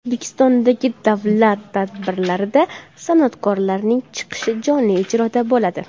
O‘zbekistondagi davlat tadbirlarida san’atkorlarning chiqishi jonli ijroda bo‘ladi.